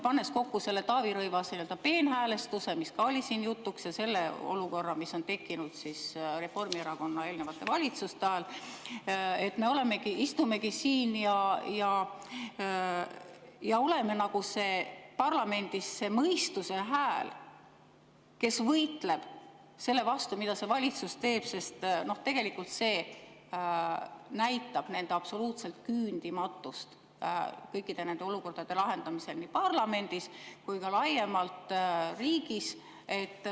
Pannes kokku selle Taavi Rõivase nii-öelda peenhäälestuse, mis ka oli siin jutuks, ja selle olukorra, mis tekkis Reformierakonna eelnevate valitsuste ajal, me seetõttu istumegi siin ja oleme parlamendis nagu see mõistuse hääl, kes võitleb selle vastu, mida see valitsus teeb, sest tegelikult see näitab nende absoluutset küündimatust kõikide nende olukordade lahendamisel nii parlamendis kui ka laiemalt riigis.